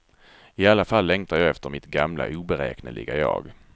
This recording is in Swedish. I alla fall längtar jag efter mitt gamla oberäkneliga jag.